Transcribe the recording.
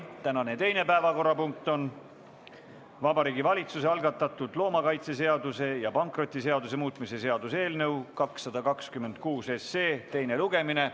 Tänane teine päevakorrapunkt on Vabariigi Valitsuse algatatud loomakaitseseaduse ja pankrotiseaduse muutmise seaduse eelnõu 226 teine lugemine.